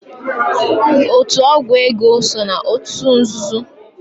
Otu ọgwụ ego so n'otu nzuzo.